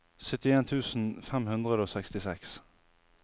syttien tusen fem hundre og sekstiseks